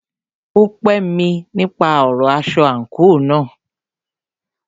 Ó pè mí nípa ọ̀rọ aṣọ àńkò náà.